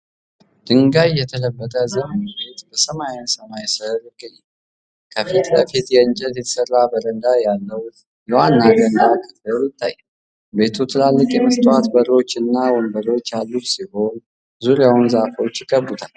ድንጋይ የተለበጠ ዘመናዊ ቤት በሰማያዊ ሰማይ ስር ይገኛል። ከፊት ለፊት ከእንጨት የተሰራ በረንዳ ያለው የዋና ገንዳ ክፍል ይታያል። ቤቱ ትላልቅ የመስታወት በሮችና ወንበሮች ያሉት ሲሆን፤ ዙሪያውን ዛፎች ይከብቡታል።